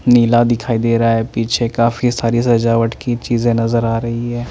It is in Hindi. नीला दिखाई दे रहा है पीछे काफी सारी सजावट की चीजे नज़र आ रई है।